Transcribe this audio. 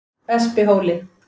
Espihóli